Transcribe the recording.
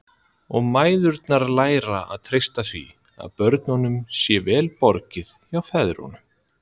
Og mæðurnar læra að treysta því að börnunum sé vel borgið hjá feðrunum.